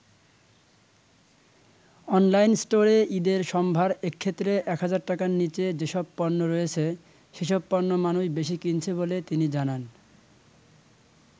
Online স্টোরে ঈদের সম্ভার এক্ষেত্রে ১০০০ টাকার নিচে যেসব পণ্য রয়েছে সেসব পণ্য মানুষ বেশি কিনছে বলে তিনি জানান।